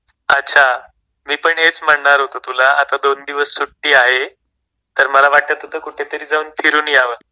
अच्छा मी पण हेच म्हणणार होतो तुला आता दोन दिवस सुट्टी आहे तर मला वाटत होतं कुठेतरी जाऊन फिरून यावं.